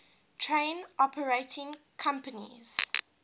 train operating companies